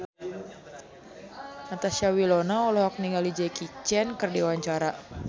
Natasha Wilona olohok ningali Jackie Chan keur diwawancara